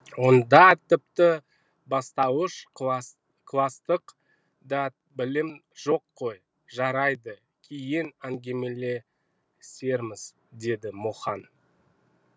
онда тіпті бастауыш кластық та білім жоқ қой жарайды кейін әңгімелесерміз деді мұхаң